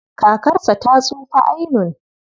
Kakarsa ta tsufa ainun.